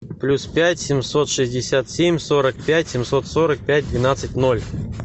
плюс пять семьсот шестьдесят семь сорок пять семьсот сорок пять двенадцать ноль